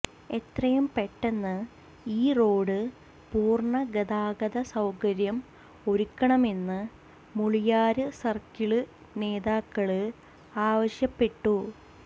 എത്രയും പെട്ടെന്ന് ഈ റോഡ് പൂര്ണ ഗതാഗത സൌകര്യം ഒരുക്കണമെന്ന് മുളിയാര് സര്ക്കിള് നേതാക്കള് ആവശ്യപ്പെട്ടു